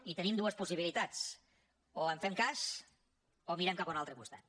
i tenim dues possibilitats o en fem cas o mirem cap a un altre costat